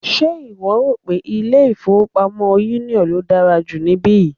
Ṣe ìwọ rò pé ilé-ìfowópamọ́ union ló dára jù níbí yìí?